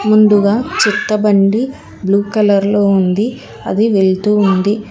ముందుగా చెత్త బండి బ్లూ కలర్ లో ఉంది అది వెళ్తూ ఉంది.